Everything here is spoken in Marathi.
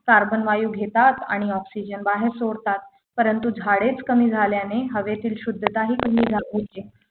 carbon वायू घेतात आणि oxygen बाहेर सोडतात परंतु झाडेच कमी झाल्याने हवेतील शुद्धता ही कमी झा होते